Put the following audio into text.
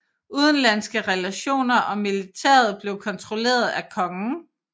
Udenlandske relationer og militæret blev kontrolleret af kongen